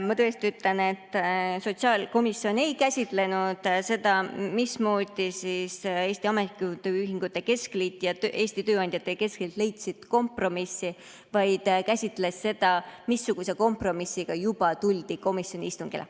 Ma tõesti ütlen, et sotsiaalkomisjon ei käsitlenud seda, mismoodi Eesti Ametiühingute Keskliit ja Eesti Tööandjate Keskliit leidsid kompromissi, vaid käsitles seda, missuguse kompromissiga tuldi juba komisjoni istungile.